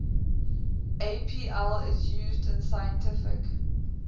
apl is used in scientific